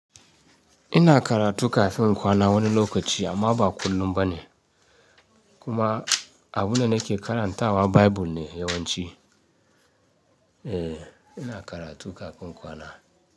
Ina karatu kafin in kwana wani lokaci amma ba kullum ba ne. Kuma abunda nake karantawa Bible ne yawanci. Eh ina karatu kafin kwana.